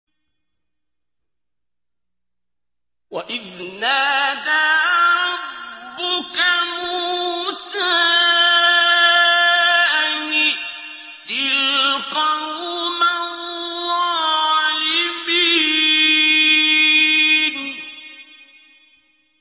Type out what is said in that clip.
وَإِذْ نَادَىٰ رَبُّكَ مُوسَىٰ أَنِ ائْتِ الْقَوْمَ الظَّالِمِينَ